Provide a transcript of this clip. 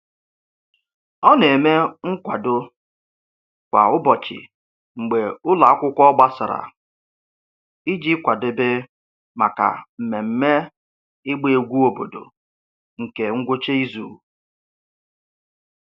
Ọ na-eme nkwado kwa ụbọchị mgbe ụlọ akwụkwọ gbasara iji kwadebe maka mmemme ịgba egwu obodo nke ngwụcha izu.